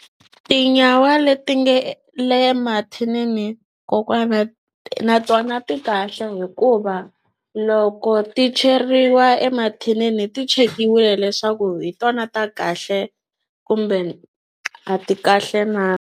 Tinyawa leti nge le mathinini kokwana na tona ti kahle hikuva loko ti cheriwa emathinini ti chekiwile leswaku hi tona ta kahle kumbe a ti kahle na.